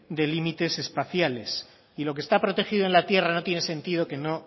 de límites espaciales y lo que está protegido en la tierra no tiene sentido que no